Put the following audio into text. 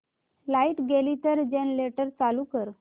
light गेली तर generator चालू कर